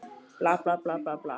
Hvað er það, lagsi?